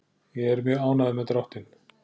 Ég er mjög ánægður með dráttinn.